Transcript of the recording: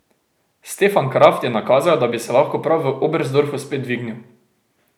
Stefan Kraft je nakazal, da bi se lahko prav v Oberstdorfu spet dvignil.